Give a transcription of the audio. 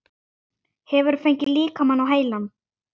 Hefurðu fengið líkamann á heilann?